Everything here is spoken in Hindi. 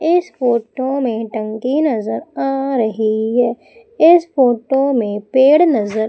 इस फोटो में टंकी नजर आ रही है इस फोटो में पेड़ नजर--